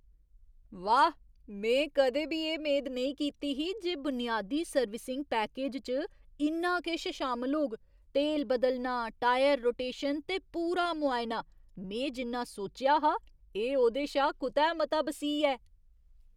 वाह्, में कदें बी एह् मेद नेईं कीती ही जे बुनियादी सर्विसिंग पैकेज च इन्ना किश शामल होग, तेल बदलना, टायर रोटेशन ते पूरा मुआयना। में जिन्ना सोचेआ हा, एह् ओह्दे शा कुतै मता बसीह् ऐ!